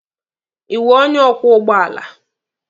Ị wụ onye ọkwọ ụgbọala?